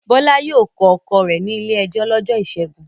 Bọ́lá yóò kọ ọkọ rẹ̀ ní ilé-ẹjọ́ lọ́jọ́ ìṣẹ́gun.